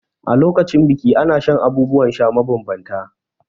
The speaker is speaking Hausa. A lokacin biki ana shan abubuwan sha mabambanta.